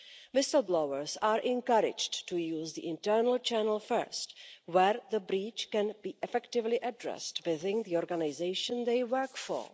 Whistle blowers are encouraged to use the internal channel first where the breach can be effectively addressed within the organisation they work for.